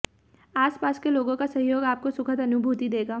आस पास के लोगों का सहयोग आपको सुखद अनुभूति देगा